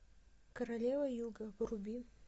королева юга вруби